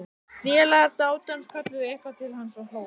Félagar dátans kölluðu eitthvað til hans og hlógu.